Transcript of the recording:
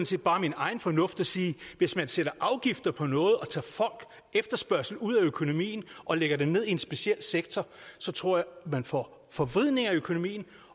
set bare min egen fornuft og siger at hvis man sætter afgifter på noget og tager folks efterspørgsel ud af økonomien og lægger den ned i en speciel sektor så tror jeg man får forvridninger i økonomien